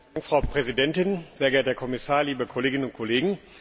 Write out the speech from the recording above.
Frau Präsidentin, sehr geehrter Herr Kommissar, liebe Kolleginnen und Kollegen!